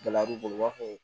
Gɛlɛya b'u bolo u b'a fɔ